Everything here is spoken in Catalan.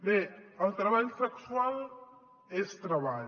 bé el treball sexual és treball